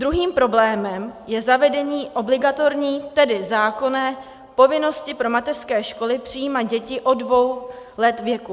Druhým problémem je zavedení obligatorní, tedy zákonné, povinnosti pro mateřské školy přijímat děti od dvou let věku.